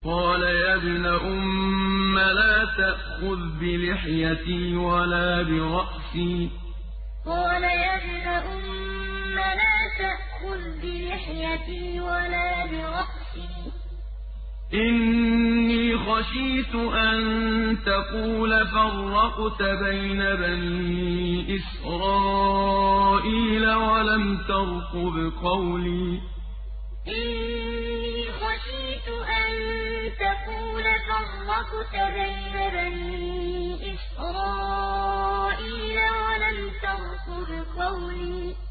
قَالَ يَا ابْنَ أُمَّ لَا تَأْخُذْ بِلِحْيَتِي وَلَا بِرَأْسِي ۖ إِنِّي خَشِيتُ أَن تَقُولَ فَرَّقْتَ بَيْنَ بَنِي إِسْرَائِيلَ وَلَمْ تَرْقُبْ قَوْلِي قَالَ يَا ابْنَ أُمَّ لَا تَأْخُذْ بِلِحْيَتِي وَلَا بِرَأْسِي ۖ إِنِّي خَشِيتُ أَن تَقُولَ فَرَّقْتَ بَيْنَ بَنِي إِسْرَائِيلَ وَلَمْ تَرْقُبْ قَوْلِي